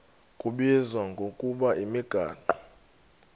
kubizwa ngokuba yimigaqo